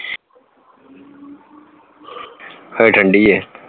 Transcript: ਹਜੇ ਠੰਡੀ ਹੈ